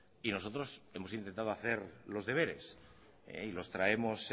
y nosotros hemos intentado hacer los deberes y los traemos